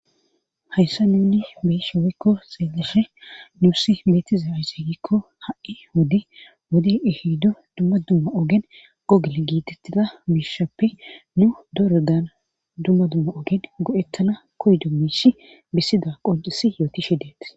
Hayssa nunni beeshe wikko xeeleshe numussi beetiza wizeegikko ha'i wodi wodi ehiddu dumma dumma ogen qogole giitettida biishappe nu dorodan dumma dumma ogen go'ettana kodi dummishi bissida qoncisi yooti shidet.